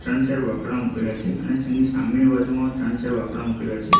ત્રણ ચાર બાકડા મુકેલા છે અને જેની સામેની બાજુમાં ત્રણ ચાર બાકડા મુકેલા છે.